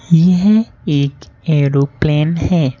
यह एक एरोप्लेन हैं।